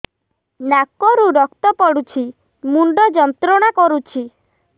ନାକ ରୁ ରକ୍ତ ପଡ଼ୁଛି ମୁଣ୍ଡ ଯନ୍ତ୍ରଣା କରୁଛି